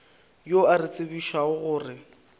yo a re tsebišago gore